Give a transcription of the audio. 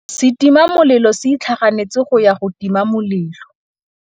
Setima molelô se itlhaganêtse go ya go tima molelô.